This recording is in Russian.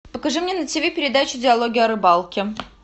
покажи мне на тиви передачу диалоги о рыбалке